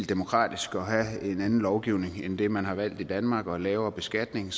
demokratisk at have en anden lovgivning end det man har valgt i danmark og en lavere beskatning